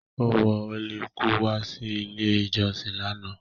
Ó wọ ólekú wá sí ilé ìjọsìn lánàá.